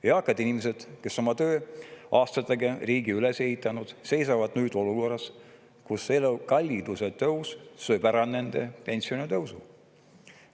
Eakad inimesed, kes oma tööaastatega on riigi üles ehitanud, on nüüd olukorras, kus elukalliduse tõus sööb ära nende pensionitõusu.